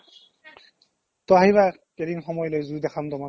to আহিবা এদিন সময় লৈ zoo দেখাম তোমাক